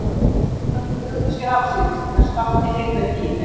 Strákarnir brugðu sér afsíðis til að Skapti heyrði ekki í þeim.